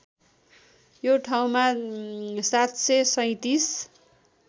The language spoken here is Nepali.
यो ठाउँमा ७३७